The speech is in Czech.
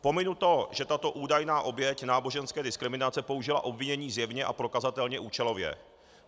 Pominu to, že tato údajná oběť náboženské diskriminace použila obvinění zjevně a prokazatelně účelově.